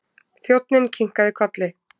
Þjónninn kinkaði kolli.